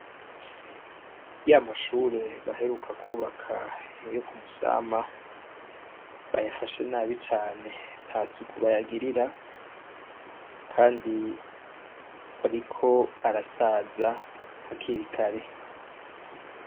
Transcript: Iyo amashure baheruka kubaka yo ku musama bayafashe nabi cane nta siukubayagirira, kandi bariko arasaza hakir ikare.